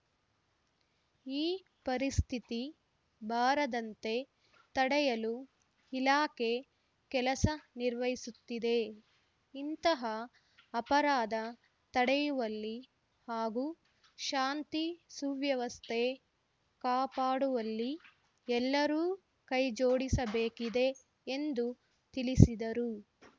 ಈ ಪರಿಸ್ಥಿತಿ ಬಾರದಂತೆ ತಡೆಯಲು ಇಲಾಖೆ ಕೆಲಸ ನಿರ್ವಹಿಸುತ್ತಿದೆ ಇಂತಹ ಅಪರಾಧ ತಡೆಯುವಲ್ಲಿ ಹಾಗೂ ಶಾಂತಿ ಸುವ್ಯವಸ್ಥೆ ಕಾಪಾಡುವಲ್ಲಿ ಎಲ್ಲರೂ ಕೈಜೋಡಿಸಬೇಕಿದೆ ಎಂದು ತಿಳಿಸಿದರು